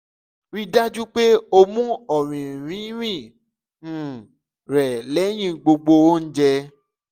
rii daju pe o mu ọrinrinrin um rẹ lẹhin gbogbo ounjẹ